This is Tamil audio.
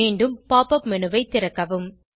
மீண்டும் pop up மேனு ஐ திறக்கவும்